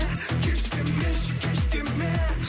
кеш демеші кеш деме